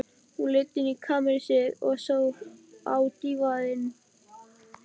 Hún leit inn í kamersið, og á dívaninn.